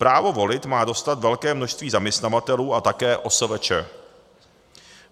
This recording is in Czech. Právo volit má dostat velké množství zaměstnavatelů a také OSVČ.